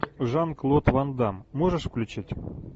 жан клод ван дамм можешь включить